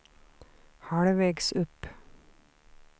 halvvägs upp